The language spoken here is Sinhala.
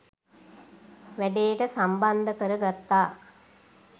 වැඩේට සම්බන්ද කර ගත්තා